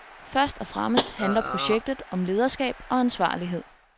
Først og fremmest handler projektet om lederskab og ansvarlighed.